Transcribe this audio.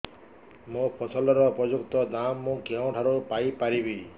ମୋ ଫସଲର ଉପଯୁକ୍ତ ଦାମ୍ ମୁଁ କେଉଁଠାରୁ ପାଇ ପାରିବି